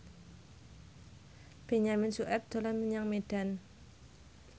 Benyamin Sueb dolan menyang Medan